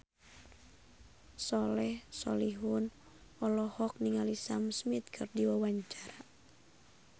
Soleh Solihun olohok ningali Sam Smith keur diwawancara